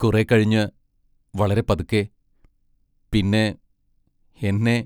കുറേക്കഴിഞ്ഞ് വളരെ പതുക്കെ പിന്നെ എന്നെ